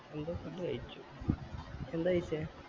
Indo food കൈച്ചു എന്താ കൈച്ചെ